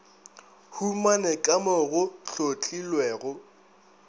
humane ka mo go hlotlilwego